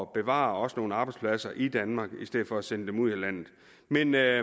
bevare også nogle arbejdspladser i danmark i stedet for at sende dem ud af landet men der